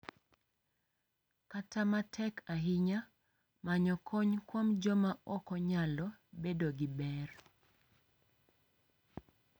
Kata ma tek ahinya, manyo kony kuom joma oko nyalo bedo gi ber.